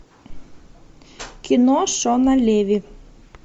кино шона леви